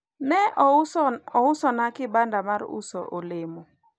ne ousona kibanda mar uso olemo